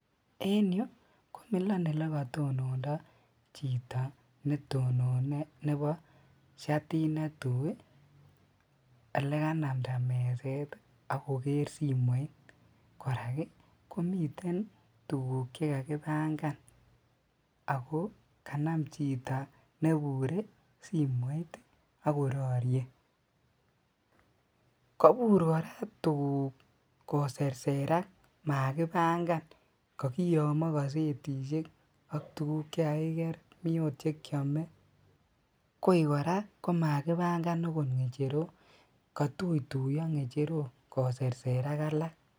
En yuu komilon elekotonondo chito netonone nebo shatit netui elekanamnda meset akoker simoit, kora komiten tukuk chekakibangan akoo kanam chito nebure simoit akororie, kobur kora tukuk koserserak makibang'an kokiyomo kosetishek ak tukuk chekakiker mii oot chekiome, koii kora komakibang'an okot ng'echerok, kotutuiyo ng'echerok koserserak alak.